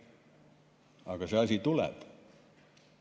Aga see asi tuleb.